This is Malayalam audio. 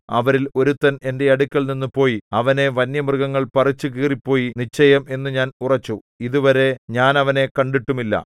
അവരിൽ ഒരുത്തൻ എന്റെ അടുക്കൽനിന്ന് പോയി അവനെ വന്യമൃഗങ്ങൾ പറിച്ചു കീറിപ്പോയി നിശ്ചയം എന്നു ഞാൻ ഉറച്ചു ഇതുവരെ ഞാൻ അവനെ കണ്ടിട്ടുമില്ല